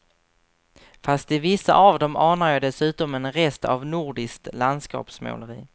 Fast i vissa av dem anar jag dessutom en rest av nordiskt landskapsmåleri.